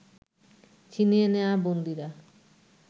ছিনিয়ে নেয়া বন্দীরা